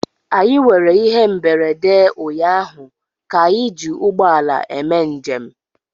Anyị nwere ihe mberede ụnyaahụ ka anyị ji ụgbọ ala eme njem